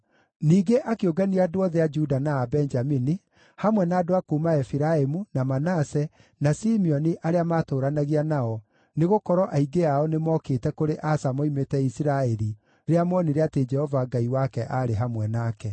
Ningĩ akĩũngania andũ othe a Juda na a Benjamini, hamwe na andũ a kuuma Efiraimu, na Manase, na Simeoni arĩa maatũũranagia nao, nĩgũkorwo aingĩ ao nĩmookĩte kũrĩ Asa moimĩte Isiraeli rĩrĩa moonire atĩ Jehova Ngai wake aarĩ hamwe nake.